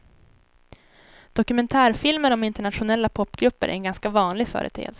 Dokumentärfilmer om internationella popgrupper är en ganska vanlig företeelse.